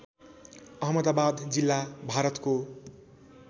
अहमदाबाद जिल्ला भारतको